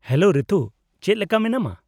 -Hello Ritu, ᱪᱮᱫ ᱞᱮᱠᱟ ᱢᱮᱱᱟᱢᱟ ?